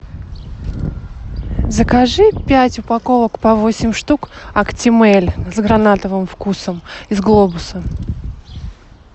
закажи пять упаковок по восемь штук актимель с гранатовым вкусом из глобуса